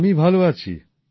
আমি ভাল আছি